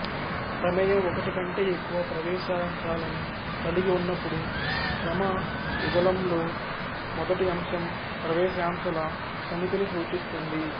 ప్రమేయం ఒకటి కంటే ఎక్కువ ప్రవేశాంశాలని కలిగి ఉన్నప్పుడు క్రమ యుగళంలో మొదటి అంశం ప్రవేశాంశాల సమితిని సూచిస్తుంది